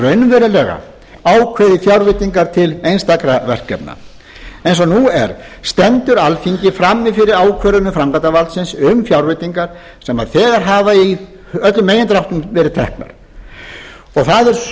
raunverulega ákveði fjárveitingar til einstakra verkefna eins og nú er stendur alþingi frammi fyrir ákvörðunum framkvæmdarvaldsins um fjárveitingar sem þegar hafa í öllum megindráttum verið teknar sú er